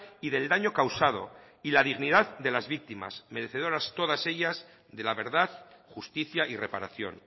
y del daño causado y la dignidad de las víctimas merecedoras todas ellas de la verdad justicia y reparación